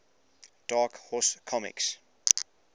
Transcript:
dark horse comics